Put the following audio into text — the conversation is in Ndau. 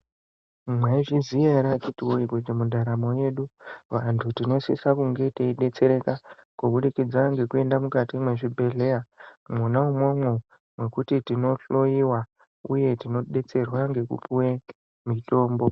Mwai zviziya ere akiti woye kuti mu ntaramo yedu vantu tino sisa kunge tei detsereka kubudikidza ne kuenda mukati me zvibhedhleya mwona mwomwo mekuti tino hloyiwa uye tino detserwa ngeku piwe mitombo.